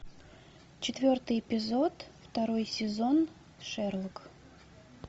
четвертый эпизод второй сезон шерлок